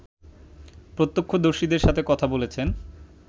প্রত্যক্ষদর্শীদের সাথে কথা বলেছেন